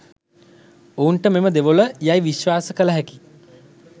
ඔවුන්ට මෙම දෙවොල යයි විශ්වාස කළ හැකි